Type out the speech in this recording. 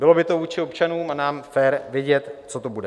Bylo by to vůči občanům a nám fér vědět, co to bude.